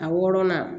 A wɔɔrɔnan